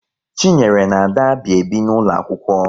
Chinyere na Ada bi ebi n'ụlọ akwụkwọ